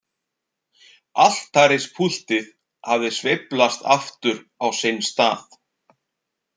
Altarispúltið hafði sveiflast aftur á sinn stað.